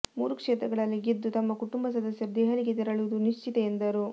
ಮೂರು ಕ್ಷೇತ್ರಗಳಲ್ಲಿ ಗೆದ್ದು ತಮ್ಮ ಕುಟುಂಬ ಸದಸ್ಯರು ದೆಹಲಿಗೆ ತೆರಳುವುದು ನಿಶ್ಚಿತ ಎಂದರು